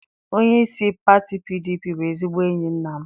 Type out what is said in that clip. Onyeisi pati PDP bụ ezigbo enyi nna m.